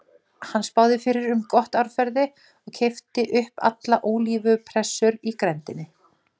Hann spáði fyrir um gott árferði og keypti upp alla ólífupressur í grenndinni.